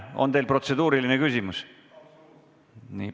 On teil protseduuriline küsimus?